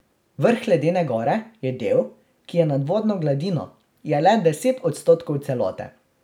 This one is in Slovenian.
Vrh ledene gore je del, ki je nad vodno gladino, je le deset odstotkov celote.